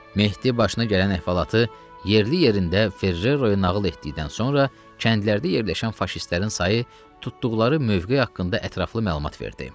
Mehdi başına gələn əhvalatı yerli-yerində Ferrero-ya nağıl etdikdən sonra kəndlərdə yerləşən faşistlərin sayı, tutduqları mövqe haqqında ətraflı məlumat verdi.